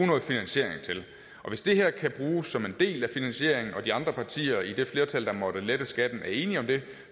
noget finansiering til hvis det her kan bruges som en del af finansieringen og de andre partier i det flertal der måtte lette skatten er enige om det